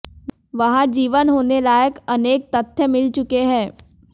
वहां जीवन होने लायक अनेक तथ्य मिल चुके हैं